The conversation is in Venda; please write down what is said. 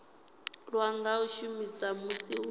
lwa nga shumiswa musi hu